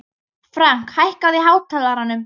Frank, hækkaðu í hátalaranum.